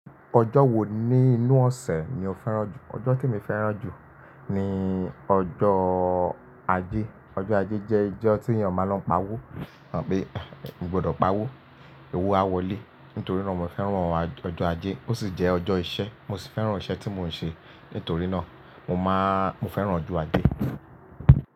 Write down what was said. Ọjọ́ wo ní inú ọ̀sẹ̀ ni o fẹ́ràn jù? Ọjọ́ t’èmi fẹ́ràn jù ní ọjọ́ ajé, ọjọ́ ajé jẹ́ ọjọ́ tí ènìyàn máa ń lọ pa owó, ẹ mọ̀ pé mo gbọdọ̀ pa owó, owó a wọlé nítorí náà mo fẹ́ràn ọjọ́ ajé. Ó sì jẹ́ ọjọ́ iṣẹ́, mo sì fẹ́ràn iṣẹ́ tí mò ń ṣe, nítorí náà mo máa–mo fẹ́ràn ọjọ́ ajé.